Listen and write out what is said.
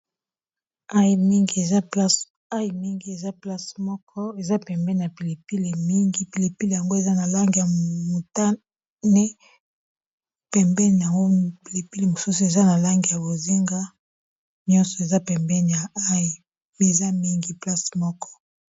Ail mingi mingi eza ail mingi eza place moko eza pembeni na pilipili mingi pilipili yango eza na langi ya mutane pembeni na yango pilipili mosusu eza na langi ya bozinga nyonso eza pembe ya ail eza mingi place moko